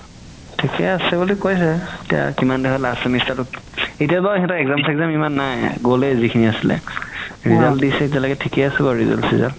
থিকে আছে বুলি কৈছে এতিয়া last semester তোত এতিয়া বাৰু সেহেতৰ exam চ্জাম নাই গ'লে যিখিনি আছিলে result দিছে এতিয়ালৈকে থিকে আছে বাৰু result চিজাল্ত